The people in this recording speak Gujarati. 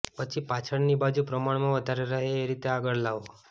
પછી પાછળની બાજુ પ્રમાણમાં વધારે રહે એ રીતે આગળ લાવો